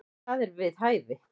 Það er við hæfi.